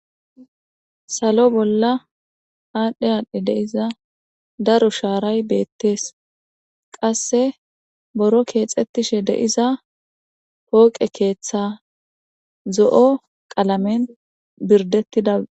Salo bolla aadhdhe aadhdhe deiza daro shaaray beettees qasse boro keexettishe deiza pooqe keeththa zo'o qalamen birdettida